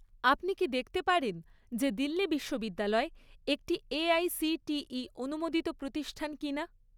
আপনি কি দেখতে পারেন যে দিল্লি বিশ্ববিদ্যালয় একটি এআইসিটিই অনুমোদিত প্রতিষ্ঠান কিনা?